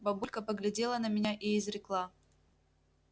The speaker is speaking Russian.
бабулька поглядела на меня и изрекла